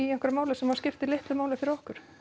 einhverju máli sem skiptir litlu fyrir okkur